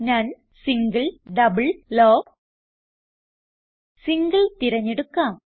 നോൻ single double low single തിരഞ്ഞെടുക്കാം